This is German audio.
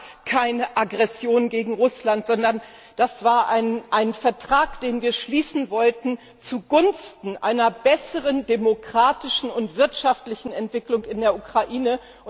Das war keine Aggression gegen Russland, sondern das war ein Vertrag, den wir schließen wollten, zugunsten einer besseren demokratischen und wirtschaftlichen Entwicklung in der Ukraine.